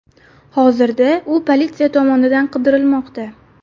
Hozirda u politsiya tomonidan qidirilmoqda.